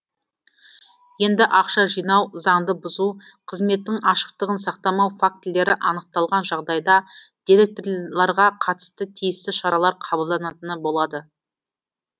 енді ақша жинау заңды бұзу қызметтің ашықтығын сақтамау фактілері анықталған жағдайда директорларға қатысты тиісті шаралар қабылданатыны болады